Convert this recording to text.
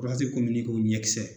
ye kɔmi ɲɛkisɛ.